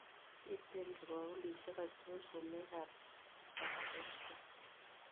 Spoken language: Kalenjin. Piiten kibagulisiek achon sumek arap kipkosgei